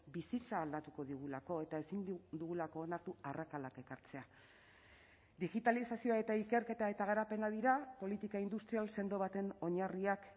bizitza aldatuko digulako eta ezin dugulako onartu arrakalak ekartzea digitalizazioa eta ikerketa eta garapena dira politika industrial sendo baten oinarriak